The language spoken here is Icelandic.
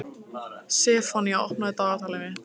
Sefanía, opnaðu dagatalið mitt.